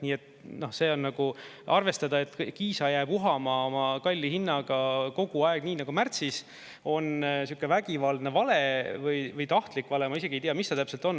Nii et see on, nagu arvestada, et Kiisa jääb uhama oma kalli hinnaga kogu aeg, nii nagu märtsis, on sihuke vägivaldne vale või tahtlik vale, ma isegi ei tea, mis seal täpselt on.